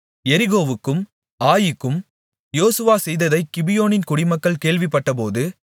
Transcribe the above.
எரிகோவுக்கும் ஆயீக்கும் யோசுவா செய்ததைக் கிபியோனின் குடிகள் கேள்விப்பட்டபோது